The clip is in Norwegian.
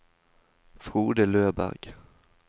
Frode Løberg